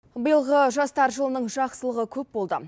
биылғы жастар жылының жақсылығы көп болды